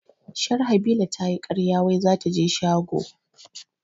Sharhabila tayi karya wai zataje shago